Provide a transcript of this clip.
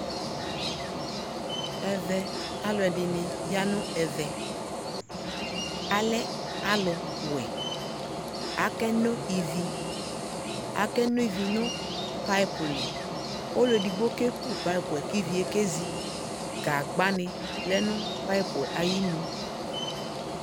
ɛvɛ alʋɛdini yanʋ ɛvɛ, alɛ alʋ wɛ, akɛnɔ ivi, akɛnɔ ivi nʋ pipe li, ɔlʋɛ ɛdigbɔ kɛkʋ pipeɛ kʋ iviɛ kɛzi, gagba ni lɛnʋ pipeɛ ayinʋ